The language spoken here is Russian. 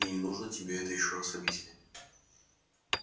мне не нужно тебе это ещё раз объяснять